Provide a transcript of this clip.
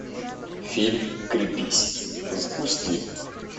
фильм крепись запусти